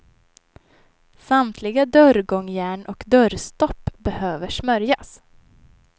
Samtliga dörrgångjärn och dörrstopp behöver smörjas.